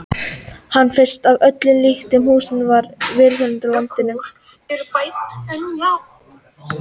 Hann finnst að öllum líkindum í húsum mun víðar á landinu.